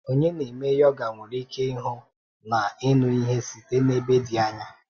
Onye na-eme yoga nwere ike ịhụ na ịnụ ihe site n’ebe dị anya.